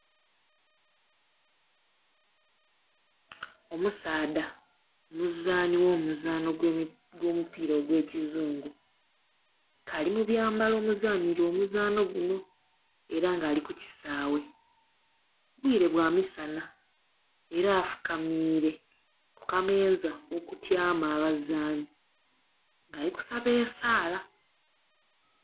Omusaadha omuzaani gh'omuzaano gw'omupiira ogw'ekizungu, k'ali mu byambalo omuzanhilwa omuzaanho guno, era nga ali ku kisaawe. Bwire bwa misana. Era afukamiire ku kameeza okutyama abazaani, ng'ali kusaba esaala.